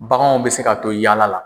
Baganw bɛ se ka to yaala la.